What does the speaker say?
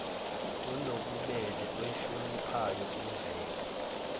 onobubele oyihloniphayo imvelo